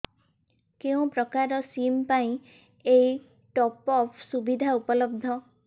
କେଉଁ ପ୍ରକାର ସିମ୍ ପାଇଁ ଏଇ ଟପ୍ଅପ୍ ସୁବିଧା ଉପଲବ୍ଧ